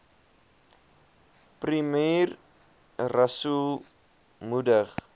premier rasool moedig